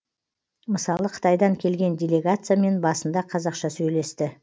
мысалы қытайдан келген делегациямен басында қазақша сөйлесті